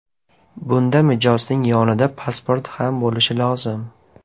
Bunda mijozning yonida pasporti ham bo‘lishi lozim.